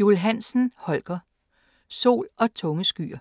Juul Hansen, Holger: Sol - og tunge skyer